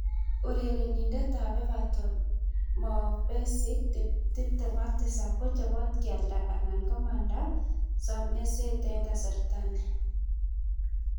(ESPN) Urerenindet ab Everton Mo Besic, 27, kochobot kealda anan komanda someset eng kasarta ni.